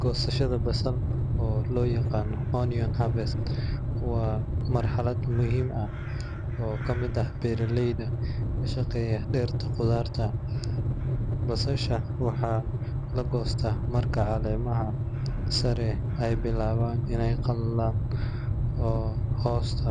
Gosashadha basal oo loyaqano onion harvest, wa marxalad muhim ahh oo kamid ah beraleyda kashaqeya dirta qudharta, basasha waxa lagosta marka calemaha sare ey bilawan iney qalalan oo hosta